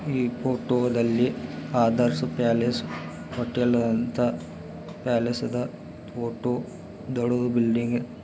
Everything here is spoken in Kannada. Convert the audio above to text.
ಈ ಫೋಟೋದಲ್ಲಿ ಆದರ್ಸ ಪ್ಯಾಲೇಸ್ ಪ್ಯಾಲೇಸ್ದ ಫೋಟು ದೊಡು ಬಿಲ್ಡಿಂಗ್ --